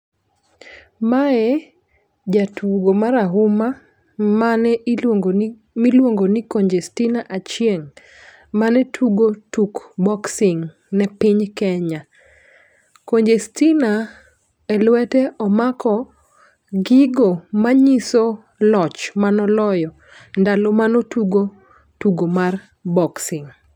Mae jatugo marahuma, mane iluongoni, ma iluongoni Congestina Achieng'. Mane tugo tuk boxing ne piny Kenya. Congestina, e lwete omako gigo manyiso loch mane oloyo ndalo mane otugo tugo mar boxing.